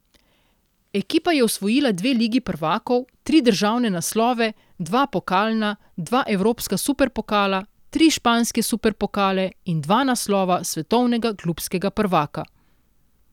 Ekipa je osvojila dve Ligi prvakov, tri državne naslove, dva pokalna, dva evropska superpokala, tri španske superpokale in dva naslova svetovnega klubskega prvaka.